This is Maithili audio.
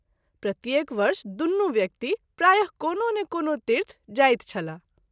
प्रत्येक वर्ष दुनू व्यक्ति प्राय: कोनो ने कोनो तीर्थ जाइत छलाह।